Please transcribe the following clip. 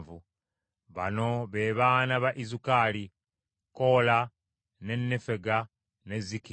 Bano be baana ba Izukali: Koola ne Nefega ne Zikiri.